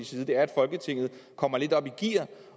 side er at folketinget kommer lidt op i gear